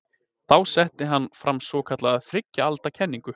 Þá setti hann fram svokallaða þriggja alda kenningu.